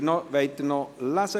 Wollen Sie ihn noch lesen?